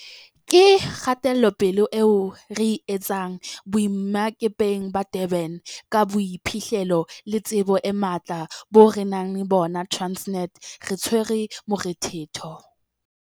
Ka kgatelopele eo re e etsang boemakepeng ba Durban, ka boiphihlelo le tsebo e matla bo re nang le bona Transnet, re tshwere morethetho.